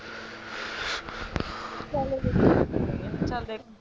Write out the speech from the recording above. ਚੱਲ ਲਿਖ